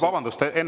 Vabandust!